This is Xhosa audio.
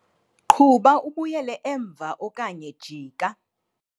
Qhuba ubuyele emva okanye jika.